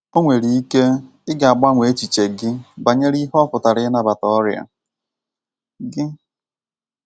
Ọ nwere ike i ga- agbanwe echiche gị banyere ihe ọ pụtara ịnabata ọrịa gị.